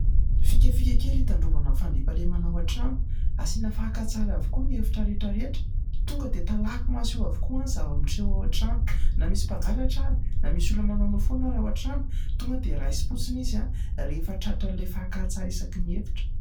Fikafika kely hitandrovana ny fandriampahalemana ao an-trano, asina fakan-tsary avokoa ny efitra rehetra rehetra ; tonga dia talaky maso eo avokoa ny zava-miseho ao an-trano, na misy mpangalatra ary ,na misy olona manaonao foana ary ao an-trano, tonga dia raisim-potsiny izy rehefa tratra'ilay fakan-tsary isaky ny efitra.